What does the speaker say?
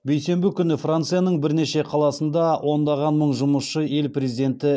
бейсенбі күні францияның бірнеше қаласында ондаған мың жұмысшы ел президенті